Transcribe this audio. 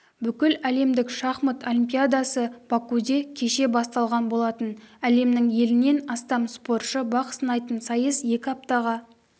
бүкіләлемдік шахмат олимпиадасы бакуде кеше басталған болатын әлемнің елінен астам спортшы бақ сынайтын сайыс екі аптаға